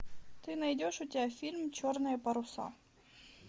ты найдешь у тебя фильм черные паруса